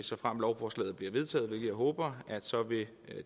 såfremt lovforslaget bliver vedtaget hvilket jeg håber vil